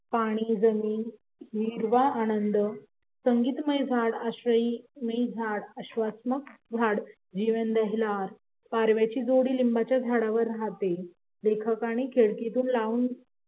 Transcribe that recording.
पाणी हिरवा आनंद संगीतमय झाड अस्वमयी झाड पारव्याची जोडी लिंबाच्या झाडावर राहते लेखकाने खिडकीतून राहून